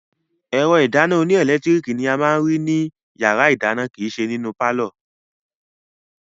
Ẹ̀rọ ìdáná oníẹlẹtíríkì ni a máa ní rí ní yàrá-ìdáná kìíse nínú pálọ̀